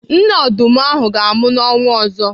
Nne ọdụm ahụ ga-amụ n'ọnwa ọzọ.